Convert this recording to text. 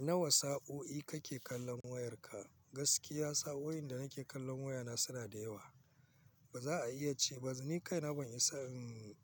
Nawa sa'o'i kake kallon wayarka? Gaskiya sa'o'in da nake kallon wayana suna da yawa. Ba za a iya ce ba. Ni kaina ban isa in